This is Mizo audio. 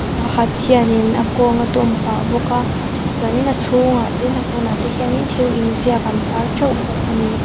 mi pakhat hianin a kawng a dawm pah bawk a chuanin a chhungah ten a pawnah te hian in thil inziak an tar teuh bawk a ni.